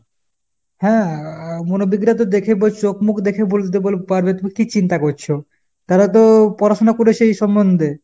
হ্যাঁ মনোবিগরা তো দেখেই বলছে চোখ মুখ দেখেই বলে দিতে পারবে তুমি কী চিন্তা করছো ? তারা তো পড়াশুনা করেছে এই সম্বন্ধে।